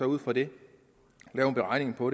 ud fra det lave en beregning på